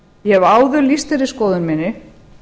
ég hef áður lýst þeirri skoðun minni